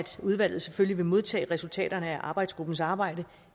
udvalget selvfølgelig vil modtage resultaterne af arbejdsgruppens arbejde